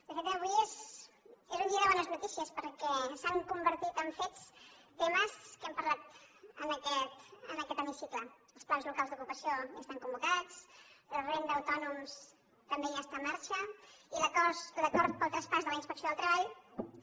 de fet avui és un dia de bones notícies perquè s’han convertit en fets temes que hem parlat en aquest hemicicle els plans locals d’ocupació de ja estan convocats la renda a autònoms també ja està en marxa i l’acord pel traspàs de la inspecció del treball també